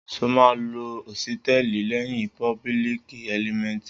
Sọ mà ló òsítẹlí leyin póbùlíkì ẹlímẹtí?